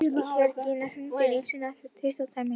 Jörgína, hringdu í Nilsínu eftir tuttugu og tvær mínútur.